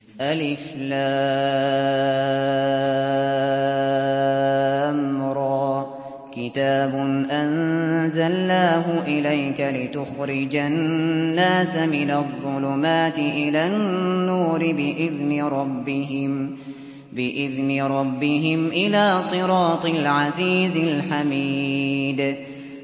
الر ۚ كِتَابٌ أَنزَلْنَاهُ إِلَيْكَ لِتُخْرِجَ النَّاسَ مِنَ الظُّلُمَاتِ إِلَى النُّورِ بِإِذْنِ رَبِّهِمْ إِلَىٰ صِرَاطِ الْعَزِيزِ الْحَمِيدِ